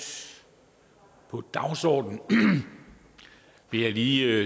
på dagsordenen vil jeg lige